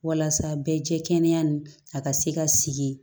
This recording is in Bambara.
Walasa bɛɛ jɛkɛni a ka se ka sigi